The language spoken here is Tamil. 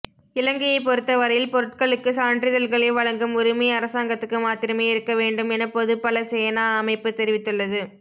இலங்கையை பொறுத்தவரையில் பொருட்களுக்கு சான்றிதழ்களை வழங்கும் உரிமை அரசாங்கத்துக்கு மாத்திரமே இருக்கவேண்டும் என பொதுபல சேனா அமைப்பு தெரிவித்துள்ளது